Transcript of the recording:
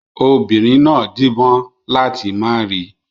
Obìnrin náà díbọ́n láti má rí i.